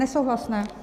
Nesouhlasné.